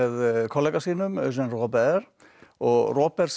kollega sínum Jean Robert og Robert